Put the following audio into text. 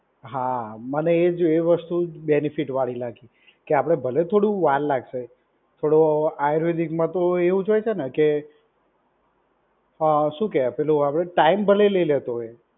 હા, મને એજ એજ વસ્તુ બેનિફિટ વાડી લાગી. કે આપડે ભલે થોડું વાર લાગશે, થોડો આયુર્વેદિકમાં તો એવુંજ હોય છે ને કે અ શું કહેવાય પેલું આપડે ટાઈમ ભલે લે લેતો હોય